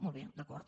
molt bé d’acord